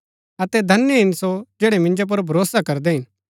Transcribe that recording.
अतै धन्य हिन सो जैड़ै मिन्जो पुर भरोसा करदै हिन